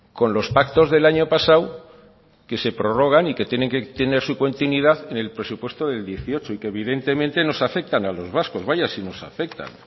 con los pactos del año pasado que se prorrogan y que tienen que tener su continuidad en el presupuesto del dieciocho y que evidentemente nos afectan a los vascos vaya si nos afectan